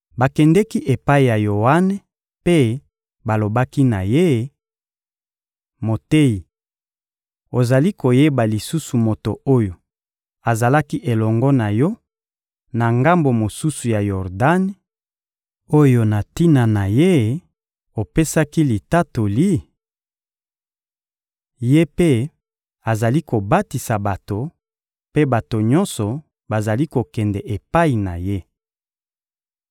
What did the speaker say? Bakendeki epai ya Yoane mpe balobaki na ye: — Moteyi, ozali koyeba lisusu moto oyo azalaki elongo na yo, na ngambo mosusu ya Yordani, oyo na tina ye opesaki litatoli? Ye mpe azali kobatisa bato, mpe bato nyonso bazali kokende epai na ye.